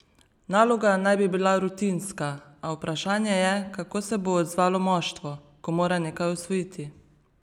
Naloga naj bi bila rutinska, a vprašanje je, kako se bo odzvalo moštvo, ko mora nekaj osvojiti?